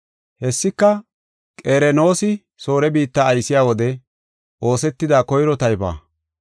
Hessika Qerenoosi Soore biitta aysiya wode oosetida koyro taybuwa.